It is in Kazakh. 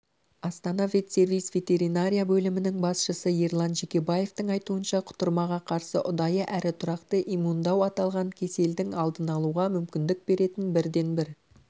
астана ветсервис ветеринария бөлімінің басшысы ерлан жекебаевтың айтуынша құтырмаға қарсы ұдайы әрі тұрақты иммундау аталған кеселдің алдын алуға мүмкіндік беретін бірден-бір